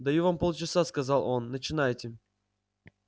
даю вам полчаса сказал он начинайте